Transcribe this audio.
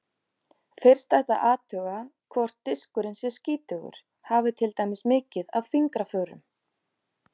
Fyrst ætti að athuga hvort diskurinn sé skítugur, hafi til dæmis mikið af fingraförum.